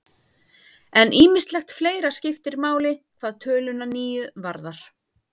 En ýmislegt fleira skiptir máli hvað töluna níu varðar.